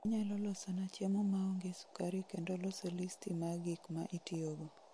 Inyalo losona chiemo maongee sukari kendo loso listii ma gik ma itiyogo